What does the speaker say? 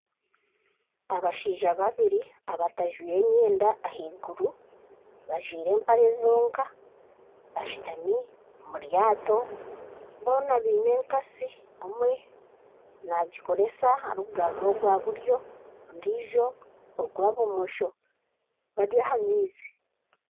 Abashaija babiri abatajwaire emyenda aheiguru bajwaire empare zonka bashutami omu lyato boona beine enkatsi omwe nagikoresa arikugarura ogwa buryo ondijo ogwa bumosho bari aha maizi.